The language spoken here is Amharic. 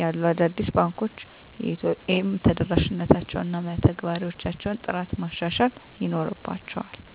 ያሉ አዳዲስ ባንኮች የኤ.ቲ.ኤም ተደራሽነታቸውን እና የመተግበሪያዎቻቸውን ጥራት ማሻሻል ይኖርባ